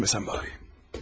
Yere düşməsəm bari.